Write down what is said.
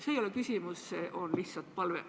See ei ole küsimus, see on lihtsalt palve.